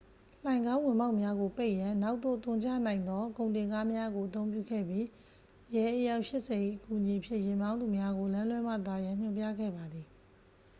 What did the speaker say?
လှိုဏ်ခေါင်းဝင်ပေါက်များကိုပိတ်ရန် နောက်သို့သွန်ချနိုင်သောကုန်တင်ကားများကို အသုံးပြုခဲ့ပြီး ရဲ အယောက် 80 ၏အကူအညီဖြင့် ယာဉ်မောင်းသူများကို လမ်းလွှဲမှသွားရန် ညွှန်ပြခဲ့ပါသည်